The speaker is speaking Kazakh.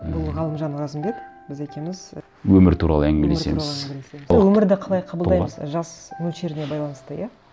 бұл ғалымжан оразымбет біз екеуіміз і өмір туралы әңгімелесеміз өмірді қалай қабылдаймыз жас мөлшеріне байланысты иә